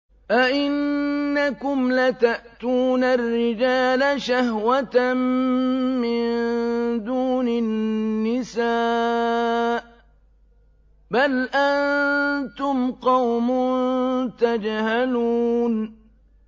أَئِنَّكُمْ لَتَأْتُونَ الرِّجَالَ شَهْوَةً مِّن دُونِ النِّسَاءِ ۚ بَلْ أَنتُمْ قَوْمٌ تَجْهَلُونَ